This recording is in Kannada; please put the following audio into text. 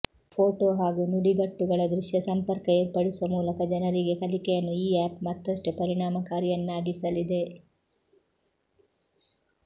ಫೋಟೋ ಹಾಗೂ ನುಡಿಗಟ್ಟುಗಳ ದೃಶ್ಯ ಸಂಪರ್ಕ ಏರ್ಪಡಿಸುವ ಮೂಲಕ ಜನರಿಗೆ ಕಲಿಕೆಯನ್ನು ಈ ಆಪ್ ಮತ್ತಷ್ಟು ಪರಿಣಾಮಕಾರಿಯನ್ನಾಗಿಸಲಿದೆ